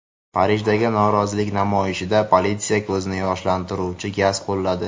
Parijdagi norozilik namoyishida politsiya ko‘zni yoshlantiruvchi gaz qo‘lladi.